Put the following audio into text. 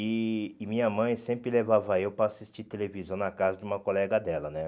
E e minha mãe sempre levava eu para assistir televisão na casa de uma colega dela, né?